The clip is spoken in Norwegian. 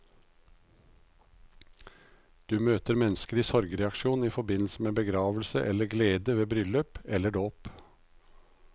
Du møter mennesker i sorgreaksjon i forbindelse med begravelse, eller glede ved bryllup, eller dåp.